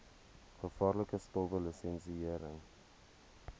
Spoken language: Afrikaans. gevaarlike stowwe lisensiëring